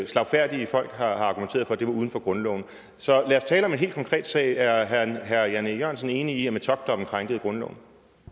slagfærdige folk har argumenteret for at det var uden for grundloven så lad os tale om en helt konkret sag er herre jan e jørgensen enig i at metockdommen krænkede grundloven